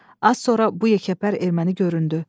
Az sonra bu yekəpər erməni göründü.